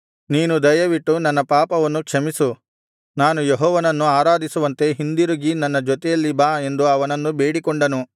ನೀನು ದಯವಿಟ್ಟು ನನ್ನ ಪಾಪವನ್ನು ಕ್ಷಮಿಸು ನಾನು ಯೆಹೋವನನ್ನು ಆರಾಧಿಸುವಂತೆ ಹಿಂದಿರುಗಿ ನನ್ನ ಜೊತೆಯಲ್ಲಿ ಬಾ ಎಂದು ಅವನನ್ನು ಬೇಡಿಕೊಂಡನು